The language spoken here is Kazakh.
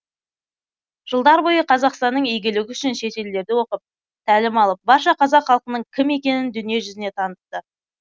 жылдар бойы қазақстанның игілігі үшін шетелдерде оқып тәлім алып барша қазақ халқының кім екенін дүние жүзіне танытты